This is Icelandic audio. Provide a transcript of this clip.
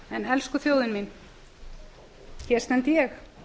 elsku þjóðin mín hér stend ég